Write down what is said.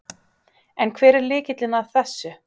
En hver er lykillinn að þessu?